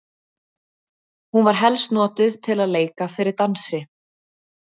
hún var helst notuð til að leika fyrir dansi